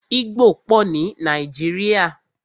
Igbó pọ ní Nàíjírìa.